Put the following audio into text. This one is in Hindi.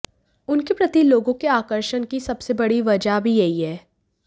उनके प्रति लोगों के आकर्षण की सबसे बड़ी वजह भी यही है